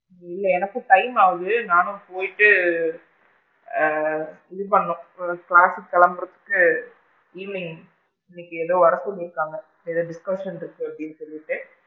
இல்ல எனக்கும் time ஆகுது நானும் போயிட்டு ஆ இது பண்ணனும் class சுக்கு கிளம்புறதுக்கு evening இன்னைக்கு ஏதோ வர சொல்லி இருக்காங்க ஏதோ discussion இருக்கு அப்படின்னு சொல்லிட்டு.